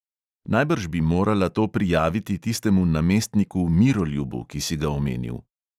"Najbrž bi morala to prijaviti tistemu namestniku miroljubu, ki si ga omenil."